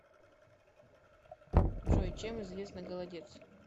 джой чем известна голодец